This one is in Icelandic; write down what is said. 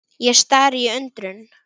Ég stari í undrun.